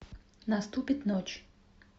наступит ночь